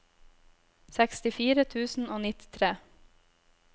sekstifire tusen og nittitre